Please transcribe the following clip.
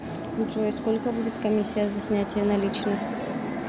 джой сколько будет коммисия за снятие наличных